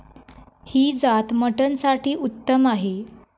ही जात मटणसाठी उत्तम आहे.